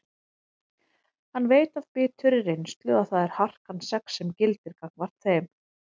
Hann veit af biturri reynslu að það er harkan sex sem gildir gagnvart þeim.